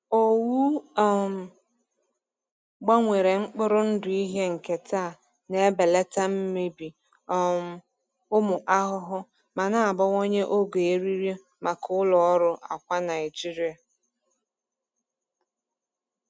Owu um gbanwere mkpụrụ ndụ ihe nketa na-ebelata mmebi um ụmụ ahụhụ, ma na-abawanye ogo eriri maka ụlọ ọrụ akwa Naijiria.